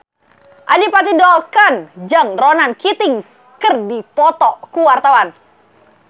Adipati Dolken jeung Ronan Keating keur dipoto ku wartawan